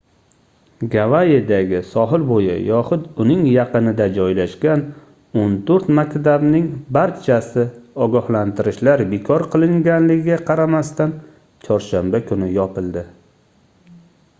gavayidagi sohil boʻyi yoxud uning yaqinida joylashgan oʻn toʻrt maktabning barchasi ogohlantirishlar bekor qilinganligiga qaramasdan chorshanba kuni yopildi